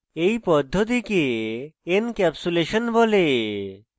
এই পদ্ধতিকে encapsulation বলে